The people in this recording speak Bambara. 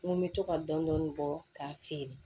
N ko n bɛ to ka dɔni bɔ k'a feere